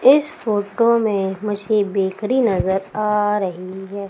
इस फोटो में मुझे बेकरी नजर आ रही हैं।